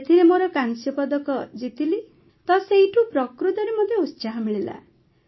ସେଥିରେ ମୋର କାଂସ୍ୟପଦକ ଜିତିଲି ତ ସେଇଠୁ ପ୍ରକୃତରେ ମତେ ଉତ୍ସାହ ମିଳିଲା